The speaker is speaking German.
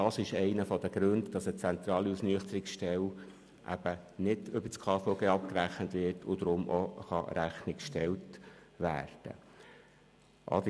Das ist einer der Gründe, weshalb eine zentrale Ausnüchterungsstelle nicht über das KVG abgerechnet wird und somit Rechnung gestellt werden kann.